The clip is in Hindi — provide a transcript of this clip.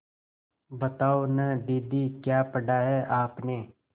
बताओ न दीदी क्या पढ़ा है आपने